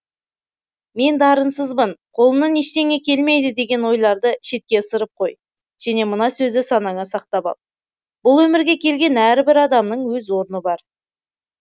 мен дарынсызбын қолымнан ештеңе келмейді деген ойларды шетке ысырып қой және мына сөзді санаңа сақтап ал бұл өмірге келген әрбір адамның өз орны бар